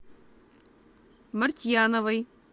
мартьяновой